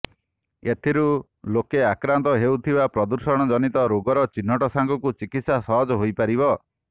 ଏଥିରୁ ଲୋକେ ଆକ୍ରାନ୍ତ ହେଉଥିବା ପ୍ରଦୂଷଣ ଜନିତ ରୋଗର ଚିହ୍ନଟ ସାଙ୍ଗକୁ ଚିକିତ୍ସା ସହଜ ହୋଇ ପାରିବ